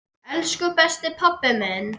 Elsku besti pabbi minn.